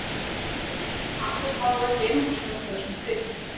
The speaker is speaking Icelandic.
Kanill var þó ekki einungis notaður sem krydd.